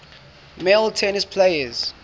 male tennis players